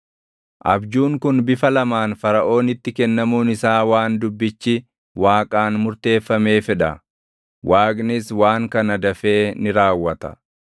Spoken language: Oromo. Abjuun kun bifa lamaan Faraʼoonitti kennamuun isaa waan dubbichi Waaqaan murteeffameef dha; Waaqnis waan kana dafee ni raawwata.